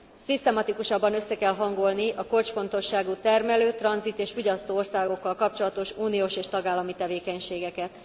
Szisztematikusabban össze kell hangolni a kulcsfontosságú termelő, tranzit és fogyasztó országokkal kapcsolatos uniós és tagállami tevékenységeket.